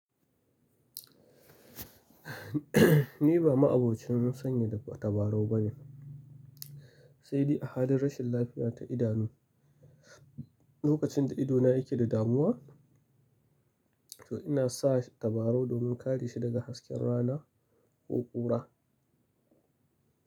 Ni ba ma'abocin sanye da tabarau bane, sai dai a halin rashin lafiya ta idanu. Lokacin da idona yake da damuwa, to ina sa tabarau domin kare shi daga hasken rana ko ƙura.